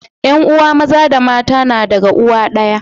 yan uwa Maza da mata na daga uwa daya